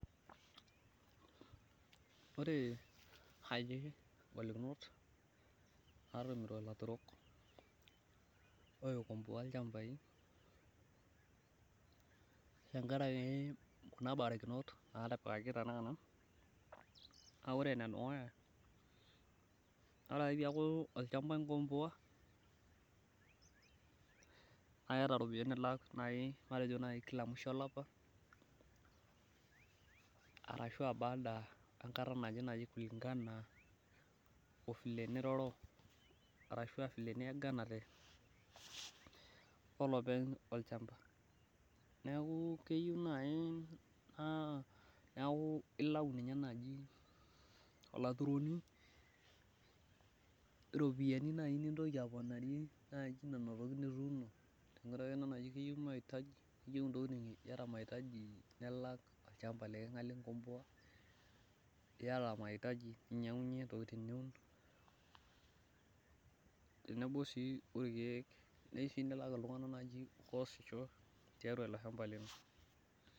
ore igolikinot natumuto ilaturok loikomboa ilchambai tenkaraki kuna barakinot, naa ore ene dukuya ore ake pee eeku olchamba inkomboa naa keeta iropiyiani nilak kila musho olapa arashu aa baada enkata naje ashu aakulinkana ovile niroro ashu vile niyaganate, olopeny olchamba neeku ilau ninye naaji olturoni iropiyiani naaji nintoki aponarie naaji nena tokitin nituuno tenkaraki iyata maaitaji iyieu nilak iltunganak atasishote.